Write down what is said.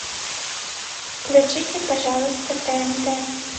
включите пожалуйста тнт